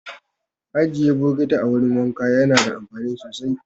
Ajiye bokati a wurin wanka yana da amfani sosai